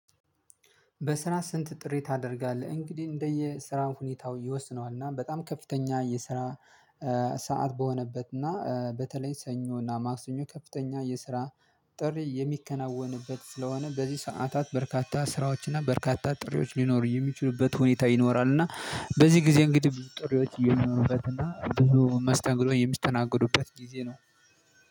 በስራ ስንት ጥሪ ታደርጋለህ እንግዲህ እንደየ ስራው ሁኔታው ይወስነዋል? እና በጣም ከፍተኛ የስራ ሰዓት በሆነበት እና በተለይ ሰኞ እና ማክሰኞ ከፍተኛ የስራ ጥሪ የሚከናወንበት ስለሆነ በዚህ ሰዓታት በርካታ ስራዎችና በርካታ ጥሪዎች ሊኖሩ የሚችሉበት ሁኔታ ይኖራል። እና በዚህ ጊዜ እንግዲህ ጥሪዎች እየኖሩበት እና ብዙ መስተንግዶ የሚስተናገዱበት ጊዜ ነው